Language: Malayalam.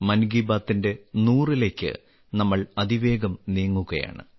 മൻ കി ബാത്തിന്റെ നൂറിലേക്ക് നമ്മൾ അതിവേഗം നീങ്ങുകയാണ്